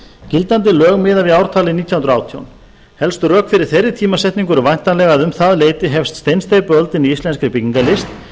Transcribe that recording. gildandi lög miða við ártalið nítján hundruð og átján helstu rök fyrir þeirri tímasetningu eru væntanlega að um það leyti hefst steinsteypuöldin í íslenskri byggingarlist